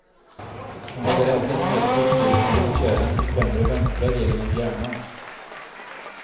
Hon hade även ett medfött fel på blodkärlen i främre vänstra delen av hjärnan.